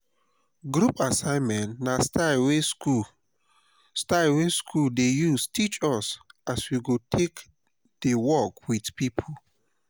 group assignment na style wey school style wey school dey use teach us as we go take dey work with people.